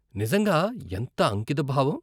నిజంగా ఎంత అంకితభావం.